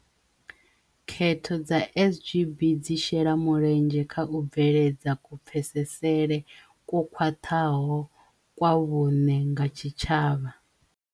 Khetho dza SGB dzi shela mulenzhe kha u bveledza ku-pfesesele kwo khwaṱhaho kwa vhuṋe nga tshitshavha.